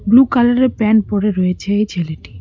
Blue colour -এর pant পরে রয়েছে এই ছেলেটি।